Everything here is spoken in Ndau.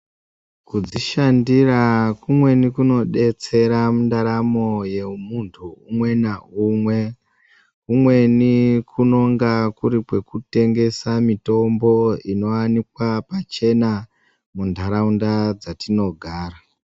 Kudzi shandira kumweni kuno detsera mu ndaramo ye muntu umwe na umwe kumweni kunonga kuri kweku tengesa mitombo ino wanikwa pachena mu ndaraunda dza tino gara.